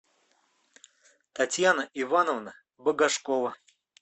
татьяна ивановна багашкова